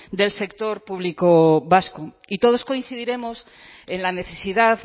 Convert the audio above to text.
del sector público vasco y todos coincidiremos en la necesidad